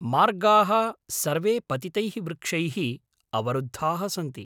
मार्गाः सर्वे पतितैः वृक्षैः अवरुद्धाः सन्ति।